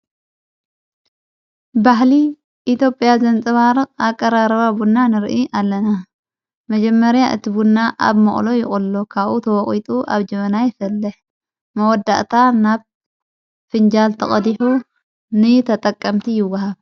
ባሕሊ ኢትዮጵያ ዘንጽባርቕ ኣቐራረባቡና ንርኢ ኣለና መጀመርያ እቲቡና ኣብ መቕሎ ይቖሎ ካኡ ተወቝጡ ኣብ ጀበና የፈለሕ መወዳእታ ናብ ፍንጃል ተቐዲሑ ን ተጠቀምቲ ይወሃብ ::